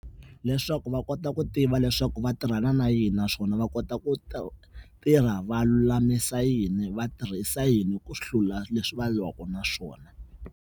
Leswaku va kota ku tiva leswaku va tirhana na yini naswona va kota ku ta tirha va lulamisa yini va tirhisa yini ku hlula leswi va lwaka na swona.